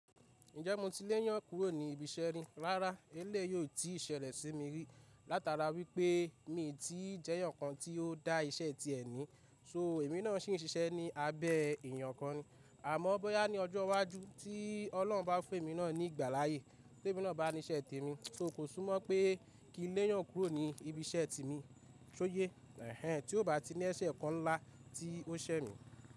Ǹjẹ́ mo ti léyàn kúrò ní ibi iṣẹ́ rí? Rárá eléyìí ti ṣẹlẹ̀ sí mi rí látara wípé mi ti jẹ́ èèyàn kan tí ó dá iṣẹ́ ti ẹ̀ ní, so èmi náà sì ń ṣiṣẹ́ ní abẹ́ èèyàn kan ni. Àmọ́ bóyá ní ọjọ́ iwájú tí Ọlọ́run bá fún èmi náà ní ìgbàláyè, tèmi náà bá ní iṣẹ́ tèmi, so kò súnmọ̀ pé kí n léyàn kúrò ní ibi iṣẹ́ ti mi, ṣóyé, èhèn tí ó bá ti ní èṣẹ́ kan ńlá tí ó ṣẹ mi.